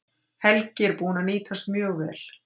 Helgi er búinn að nýtast mjög vel.